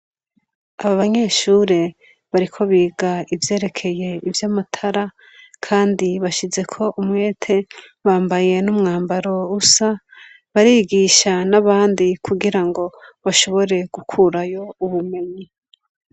Aba banyeshure bariko biga ivyerekeye ivy'amatara ,kandi bashize ko umwete bambaye n'umwambaro usa barigisha n'abandi kugira ngo bashobore gukurayo ubumenyi.